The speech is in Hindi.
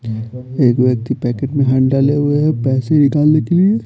एक व्यक्ति पैकेट में हैंड डाले हुए हैं पैसे निकालने के लिए--